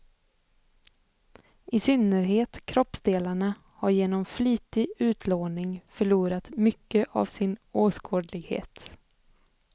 I synnerhet kroppsdelarna har genom flitig utlåning förlorat mycket av sin åskådlighet.